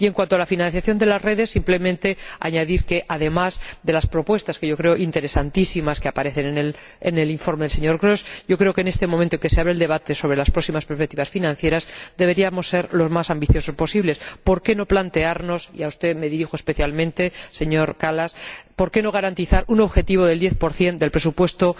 Y, en cuanto a la financiación de las redes, simplemente quiero añadir que, además de las propuestas —que creo interesantísimas— que aparecen en el informe del señor Grosch, en este momento en que se abre el debate sobre las próximas perspectivas financieras, deberíamos ser lo más ambiciosos posible. ¿Por qué no plantearnos —y a usted me dirijo especialmente, señor Kallas— garantizar un objetivo del 10 del próximo presupuesto